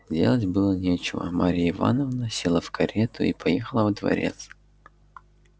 делать было нечего марья ивановна села в карету и поехала во дворец